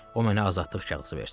O mənə azadlıq kağızı versin.